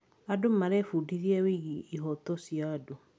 Andũ marebundithia wĩgiĩ ihooto cia andũ.